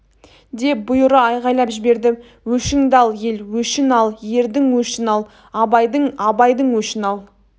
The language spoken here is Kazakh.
деп бұйыра айғайлап жіберді өшіңді ал ел өшін ал ердің өшін ал абайдың абайдың өшін ал